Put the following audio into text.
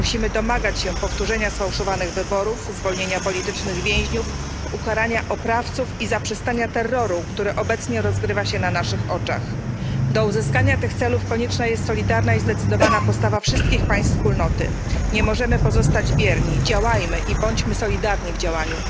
Musimy domagać się powtórzenia sfałszowanych wyborów, zwolnienia więźniów politycznych, ukarania oprawców i zaprzestania terroru, który obecnie rozgrywa się na naszych oczach. Do uzyskania tych celów konieczna jest solidarna i zdecydowana postawa wszystkich państw Wspólnoty. Nie możemy pozostać bierni działajmy i bądźmy solidarni w działaniu.